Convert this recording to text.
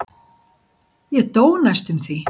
Ég dó næstum því.